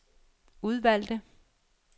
udvalgte